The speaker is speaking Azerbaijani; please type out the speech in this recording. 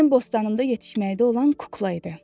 bu mənim bostanımda yetişməkdə olan kukla idi.